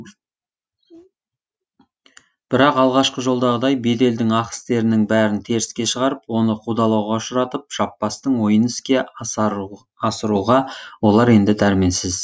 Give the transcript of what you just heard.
бірақ алғашқы жолдағыдай беделдің ақ істерінің бәрін теріске шығарып оны қудалауға ұшыратып жаппастың ойын іске асыруға олар енді дәрменсіз